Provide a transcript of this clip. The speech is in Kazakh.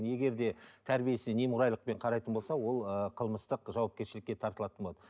егер де тәрбиесіне неқұрайлықпен қарайтын болса ол ыыы қылмыстық жауапкершілікке тартылатын болады